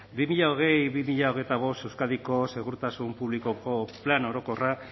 bi mila hogei bi mila hogeita bost euskadiko segurtasun publikoko plan orokorra